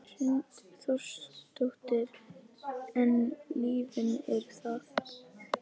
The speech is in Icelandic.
Hrund Þórsdóttir: En lyfin eru það?